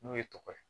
N'u ye tɔgɔ ye